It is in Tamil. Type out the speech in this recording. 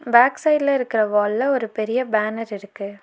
பேக் சைடுல இருக்கற வால்ல ஒரு பெரிய பேனர் இருக்கு.